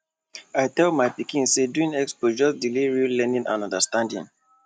i tell my pikin say doing expo just delay real learning and understanding